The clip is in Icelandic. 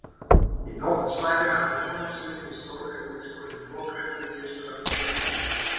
Í nótt svæfi hann hjá konu sinni í stórri og útskorinni lokrekkju Gizurar Einarssonar.